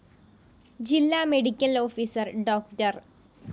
ജില്ലാ medical officer ഡോ